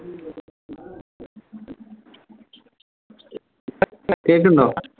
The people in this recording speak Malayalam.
കേക്ക്ണ്ടോ